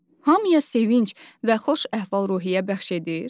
Hamıya sevinc və xoş əhval-ruhiyyə bəxş edir?